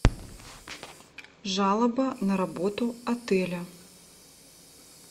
жалоба на работу отеля